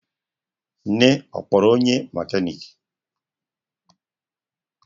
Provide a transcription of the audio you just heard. Nne ọ kpọrọ onye mekaniki?